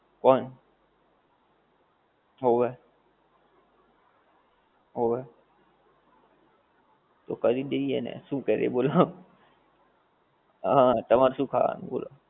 કૌણ, હોવે, હોવે, તો કરી દઈએ ને, શું કરીયે બોલો , હા તમારે શું ખાવાનું બોલો